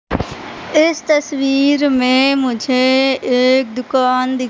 इस तस्वीर में मुझे एक दुकान दि--